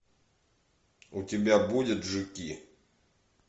у тебя будет жуки